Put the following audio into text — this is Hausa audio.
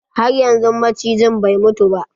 Har yanzun macijin bai mutu ba?